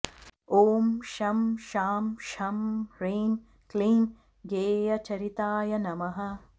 ॐ शं शां षं ह्रीं क्लीं गेयचरिताय नमः